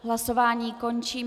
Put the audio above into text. Hlasování končím.